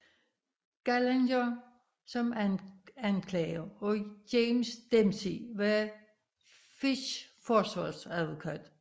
Gallagher som anklager og James Dempsey var Fish forsvarsadvokat